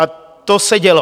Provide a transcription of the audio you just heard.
A to se dělo.